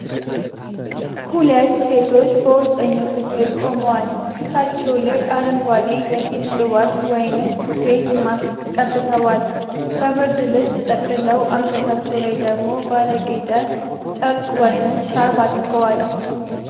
ሁለት ሴቶች በውስጠኛው ክፍል ቆመዋል። ፊታቸው ላይ አረንጓዴ የፊት ቅባት (ፌስ ማስክ) ቀብተዋል። በብርድ ልብስ ተጠቅልለው አንገታቸው ላይ ደግሞ ባለጌጠ ጨርቅ ወይም ሻርፕ አድርገዋል።